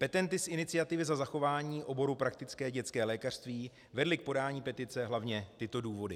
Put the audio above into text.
Petenty z Iniciativy za zachování oboru praktické dětské lékařství vedly k podání petice hlavně tyto důvody: